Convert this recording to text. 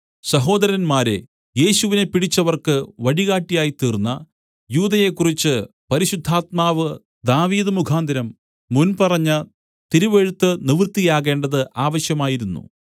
സഹോദരന്മാരേ യേശുവിനെ പിടിച്ചവർക്ക് വഴികാട്ടിയായിത്തീർന്ന യൂദയെക്കുറിച്ച് പരിശുദ്ധാത്മാവ് ദാവീദ് മുഖാന്തരം മുൻപറഞ്ഞ തിരുവെഴുത്ത് നിവൃത്തിയാകേണ്ടത് ആവശ്യമായിരുന്നു